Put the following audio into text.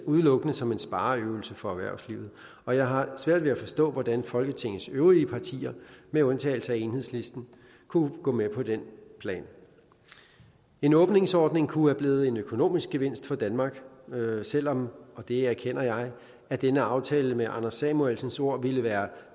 udelukkende som en spareøvelse for erhvervslivet og jeg har svært ved at forstå hvordan folketingets øvrige partier med undtagelse af enhedslisten kunne gå med på den plan en åbningsordning kunne være blevet en økonomisk gevinst for danmark selv om og det erkender jeg at denne aftale med anders samuelsens ord ville være